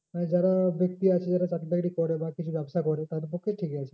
মানে যারা ব্যক্তি আছে যারা চাকরি বাকরি করে বা কিছু ব্যবসা করে তাদের পক্ষেই ঠিক আছে।